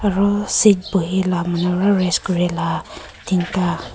aru seat buhilah manu wah rest kurila tinta